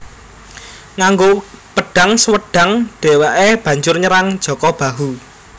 Nganggo pedhang Swedhang dheweke banjur nyerang Jaka Bahu